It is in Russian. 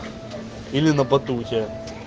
или на батуте